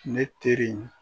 Ne teri in